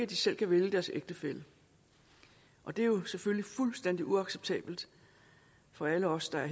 de selv kan vælge deres ægtefælle og det er jo selvfølgelig fuldstændig uacceptabelt for alle os der er